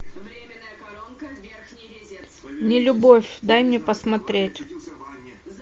нелюбовь дай мне посмотреть